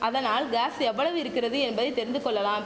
அதனால் காஸ் எவ்வளவு இருக்கிறது என்பதை தெரிந்து கொள்ளலாம்